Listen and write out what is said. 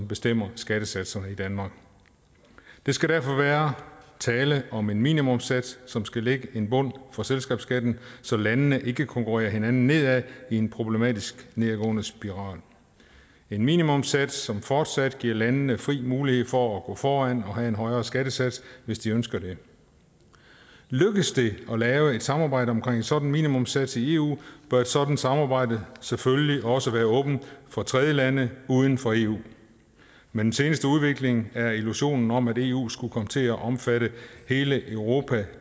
bestemmer skattesatserne i danmark der skal derfor være tale om en minimumssats som skal lægge en bund for selskabsskatten så landene ikke konkurrerer hinanden ned i en problematisk nedadgående spiral en minimumssats som fortsat giver landene fri mulighed for at gå foran og have en højere skattesats hvis de ønsker det lykkes det at lave et samarbejde omkring en sådan minimumssats i eu bør et sådant samarbejde selvfølgelig også være åbent for tredjelande uden for eu med den seneste udvikling er illusionen om at eu skulle komme til at omfatte hele europa